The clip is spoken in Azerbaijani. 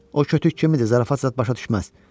O kütük kimidir, zarafat zad başa düşməz.